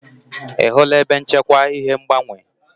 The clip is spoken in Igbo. Ị hụla ebe nchekwa ihe ngbanwe?